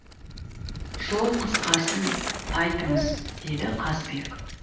жол қысқарсын айтыңыз деді қазыбек